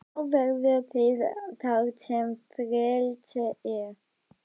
En þá verðið þið þar sem frelsið er.